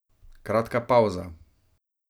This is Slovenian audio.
Kratka pavza.